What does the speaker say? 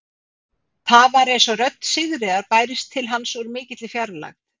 Það var eins og rödd Sigríðar bærist til hans úr mikilli fjarlægð.